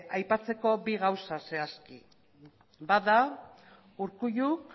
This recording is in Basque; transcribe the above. aipatzeko bi gauza zehazki bat da urkulluk